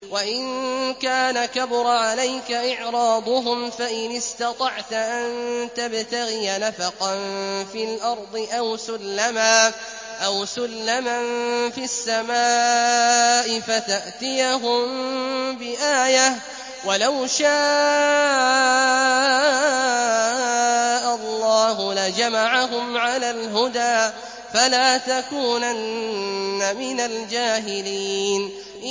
وَإِن كَانَ كَبُرَ عَلَيْكَ إِعْرَاضُهُمْ فَإِنِ اسْتَطَعْتَ أَن تَبْتَغِيَ نَفَقًا فِي الْأَرْضِ أَوْ سُلَّمًا فِي السَّمَاءِ فَتَأْتِيَهُم بِآيَةٍ ۚ وَلَوْ شَاءَ اللَّهُ لَجَمَعَهُمْ عَلَى الْهُدَىٰ ۚ فَلَا تَكُونَنَّ مِنَ الْجَاهِلِينَ